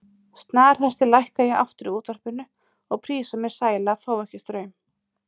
snarhasti lækka ég aftur í útvarpinu og prísa mig sæla að fá ekki straum.